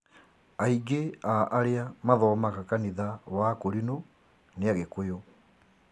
aingĩ a arĩa mathomaga kanitha wa akũrinũ nĩ agĩkũyũ